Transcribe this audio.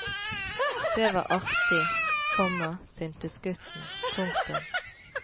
Det var artig, komma syntes gutten. punktum